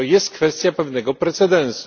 To jest kwestia pewnego precedensu.